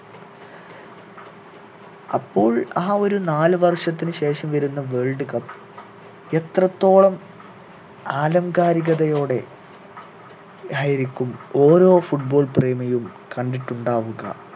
അപ്പോൾ ആ ഒരു നാല് വർഷത്തിനു ശേഷം വരുന്ന world cup എത്രത്തോളം ആലംകാരികതയോടെ ആയിരിക്കും ഓരോ football പ്രേമിയും കണ്ടിട്ടുണ്ടാവുക